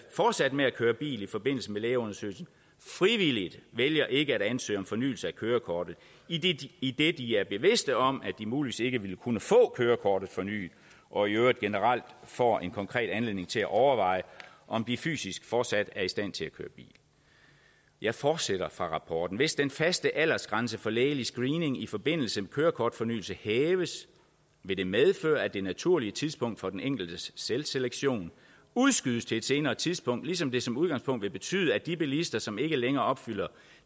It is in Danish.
fortsat med at køre bil i forbindelse med lægeundersøgelsen frivilligt vælger ikke at ansøge om fornyelse af kørekortet idet de er bevidste om at de muligvis ikke ville kunne få kørekortet fornyet og i øvrigt generelt får en konkret anledning til at overveje om de fysisk fortsat er i stand til at køre bil jeg fortsætter fra rapporten hvis den faste aldersgrænse for lægelig screening i forbindelse med kørekortfornyelse hæves vil det medføre at det naturlige tidspunkt for den enkeltes selvselektion udskydes til et senere tidspunkt ligesom det som udgangspunkt vil betyde at de bilister som ikke længere opfylder